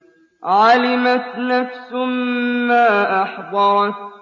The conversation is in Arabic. عَلِمَتْ نَفْسٌ مَّا أَحْضَرَتْ